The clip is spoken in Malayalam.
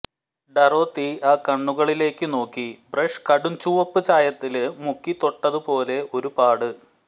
ഡറോത്തി ആ കണ്ണുകളിലേക്കു നോക്കി ബ്രഷ് കടും ചുവപ്പു ചായത്തില് മുക്കി തൊട്ടതു പോലെ ഒരു പാട്